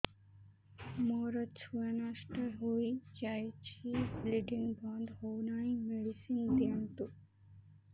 ମୋର ଛୁଆ ନଷ୍ଟ ହୋଇଯାଇଛି ବ୍ଲିଡ଼ିଙ୍ଗ ବନ୍ଦ ହଉନାହିଁ ମେଡିସିନ ଦିଅନ୍ତୁ